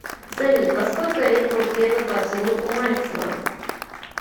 салют во сколько лет был первый поцелуй у мальцева